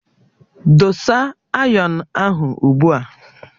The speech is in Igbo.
Dosa ayọnu ahụ ugbu a!